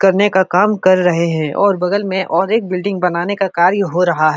करने का काम क्रर रहे है और बगल में और एक बिल्डिंग बनाने का कार्य हो रहा है।